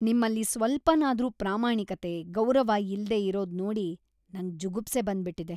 ನಿಮ್ಮಲ್ಲಿ ಸ್ವಲ್ಪನಾದ್ರೂ ಪ್ರಾಮಾಣಿಕತೆ, ಗೌರವ ಇಲ್ದೇ ಇರೋದ್‌ ನೋಡಿ ನಂಗ್‌ ಜುಗುಪ್ಸೆ ಬಂದ್ಬಿಟಿದೆ.